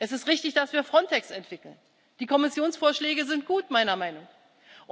tun. Es ist richtig, dass wir Frontex entwickeln. Die Kommissionsvorschläge sind meiner Meinung nach